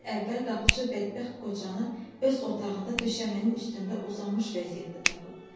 Bir gün əvvəl qapıçı bədbəxt qocanı öz otağında döşəmənin üstündə uzanmış vəziyyətdə tapıb.